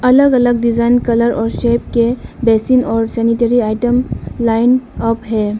अलग अलग design colour और शेप के बेसिन और सेनेटरी आइटम लाइन अप है।